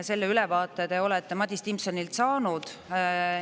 Selle ülevaate te olete Madis Timpsonilt saanud.